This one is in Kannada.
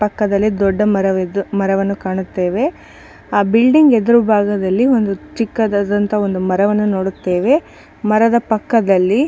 ಪಕ್ಕದಲ್ಲಿ ದೊಡ್ಡ ಮರವಿದ್ದು ಮರವನ್ನು ಕಾಣುತ್ತೇವೆ ಆ ಬಿಲ್ಡಿಂಗ್ ಎದುರು ಭಾಗದಲ್ಲಿ ಒಂದು ಚಿಕ್ಕದದಂತ ಒಂದು ಮರವನ್ನು ನೋಡುತ್ತೇವೆ ಮರದ ಪಕ್ಕದಲ್ಲಿ--